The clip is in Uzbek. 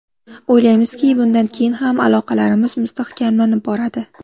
O‘ylaymizki, bundan keyin ham aloqalarimiz mustahkamlanib boradi.